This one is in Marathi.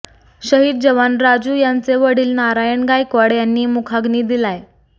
शहीद जवान राजू यांचे वडील नारायण गायकवाड यांनी मुखाग्नी दिलाय